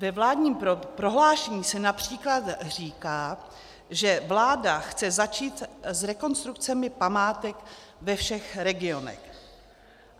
Ve vládním prohlášení se například říká, že vláda chce začít s rekonstrukcemi památek ve všech regionech.